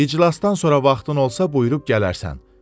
İclasdan sonra vaxtın olsa buyurub gələrsən.